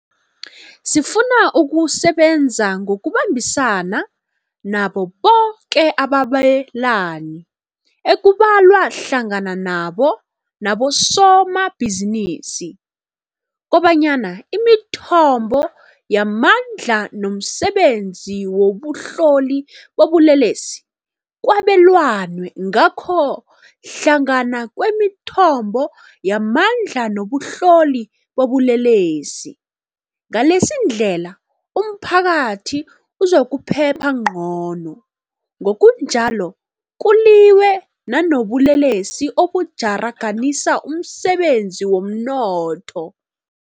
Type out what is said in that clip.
Sifuna ukusebenza ngokubambisana nabo boke ababelani, ekubalwa hlangana nabo nabosoma bhizinisi, kobanyana imithombo yamandla nomsebenzi wobuhloli bobulelesi kwabelanwe ngakho hlangana kwemithombo yamandla nobuhloli bobulelesi, ngaleyindlela umphakathi uzokuphepha ngcono, ngokunjalo kuliwe nanobulelesi obutjharaganisa umsebenzi womnotho.